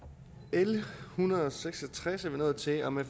l en hundrede og seks og tres er vi nået til og med